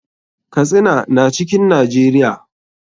Katsina na cikin najeria.